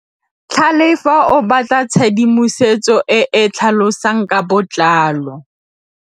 Tlhalefô o batla tshedimosetsô e e tlhalosang ka botlalô.